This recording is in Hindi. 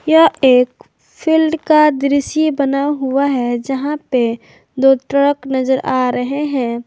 यह एक फील्ड का दृश्य बना हुआ है जहां पे दो ट्रक नजर आ रहे हैं।